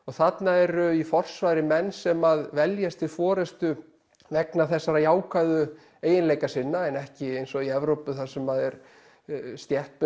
þarna eru í forsvari menn sem veljast til forystu vegna þessara jákvæðu eiginleika sinna en ekki eins og í Evrópu þar sem er